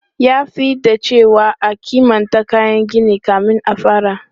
Ya fi dacewa a kimanta kayan gini kan a fara.